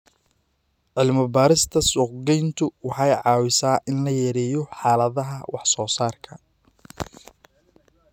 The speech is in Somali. Cilmi-baarista suuqgeyntu waxay caawisaa in la yareeyo xaaladda wax-soo-saarka.